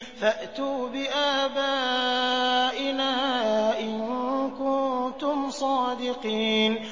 فَأْتُوا بِآبَائِنَا إِن كُنتُمْ صَادِقِينَ